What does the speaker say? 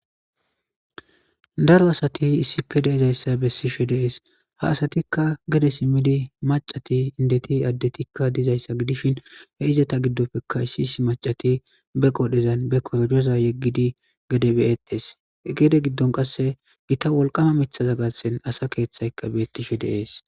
Daro asati issippe de'izayssa bessishe de'es; ha asatikka gede simiidi maccati, inddeti, addetikka dizayssa gidishin he izeta giddopekka issi issi maccati be qoodhezan be korojoza yegidi gede be'etees; he gede gidon qasse gita wolqama miththaza garssen asa keethaykka beetishe de'es.